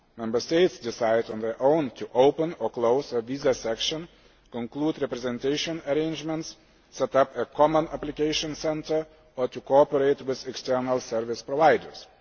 Member States decide on their own to open or close a visa section, conclude representation arrangements, set up a common application centre or to cooperate with external service providers.